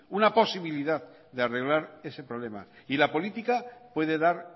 una posibilidad de arreglar ese problema y la política puede dar